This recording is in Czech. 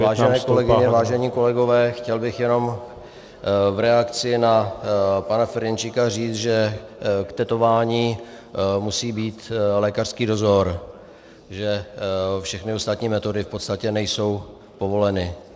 Vážené kolegyně, vážení kolegové, chtěl bych jenom v reakci na pana Ferjenčíka říct, že k tetování musí být lékařský dozor, že všechny ostatní metody v podstatě nejsou povoleny.